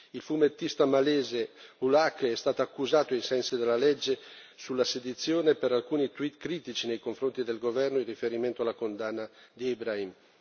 Il fumettista malese Ulhaque è stato accusato, ai sensi della legge sulla sedizione, per alcuni tweet critici nei confronti del governo in riferimento alla condanna di Ibrahim.